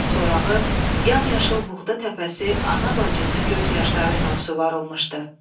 Yaz sorağı yam yaşıl buğda təpəsi ana bacının göz yaşları ilə suvarılmışdı.